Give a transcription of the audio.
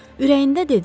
Ürəyində dedi: